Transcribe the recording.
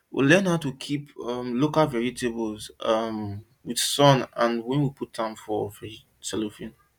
we learn how to um keep local vegetables um with sun and when we put am for cellophane